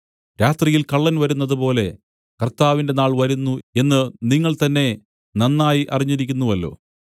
രാത്രിയിൽ കള്ളൻ വരുന്നതുപോലെ കർത്താവിന്റെ നാൾ വരുന്നു എന്നു നിങ്ങൾ തന്നേ നന്നായി അറിഞ്ഞിരിക്കുന്നുവല്ലോ